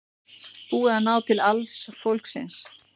Búið að ná til alls fólksins